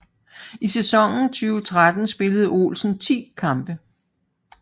I sæsonen 2013 spillede Olsen 10 kampe